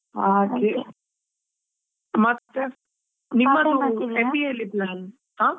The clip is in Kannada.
ಹಾಗೆ, ಮತ್ತೆ MBA ಎಲ್ಲಿ , ಹಾ?